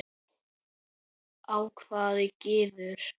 hváði Gizur.